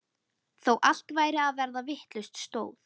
Þó allt væri að verða vitlaust stóð